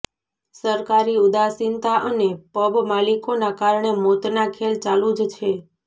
સરકારી ઉદાસીનતા અને પબ માલિકોના કારણે મોતના ખેલ ચાલુ જ છે